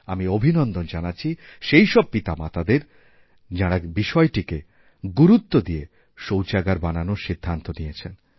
আমি অভিনন্দন জানাচ্ছি সেইসব পিতামাতাদেরযাঁরা বিষয়টিকে গুরুত্ব দিয়ে শৌচাগার বানানোর সিদ্ধান্ত নিয়েছেন